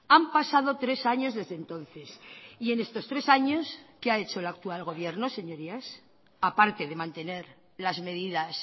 han pasado tres años desde entonces y en estos tres años qué ha hecho el actual gobierno señorías aparte de mantener las medidas